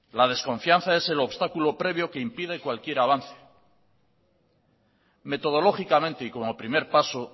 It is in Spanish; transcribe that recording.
la desconfianza es el obstáculo previo que impide cualquier avance metodológicamente y como primer paso